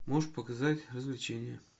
можешь показать развлечения